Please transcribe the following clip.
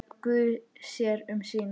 Guð sér um sína.